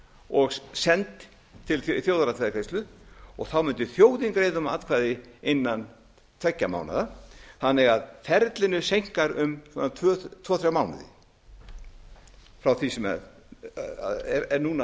og send til þjóðaratkvæðagreiðslu þá mundi þjóðin greiða um atkvæði innan tveggja mánaða þannig að ferlinu seinkar um tvo þrjá mánuði frá því sem er núna